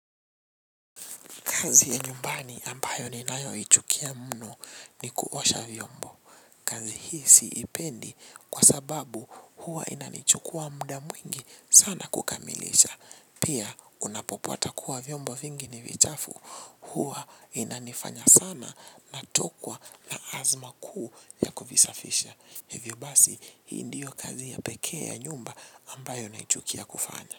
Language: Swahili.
Kazi ya nyumbani ambayo ni nayo ichukia muno ni kuosha vyombo. Kazi hii siipendi kwa sababu huwa inanichukua mda mwingi sana kukamilisha. Pia unapopata kuwa vyombo vingi ni vichafu huwa inanifanya sana natokwa na azma kuu ya kuvisafisha. Hivyo basi hii ndiyo kazi ya pekea nyumba ambayo naichukia kufanya.